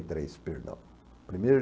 três, perdão. Primeiro